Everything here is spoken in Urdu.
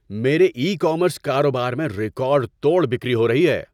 میرے ای کامرس کاروبار میں ریکارڈ توڑ بِکری ہو رہی ہے۔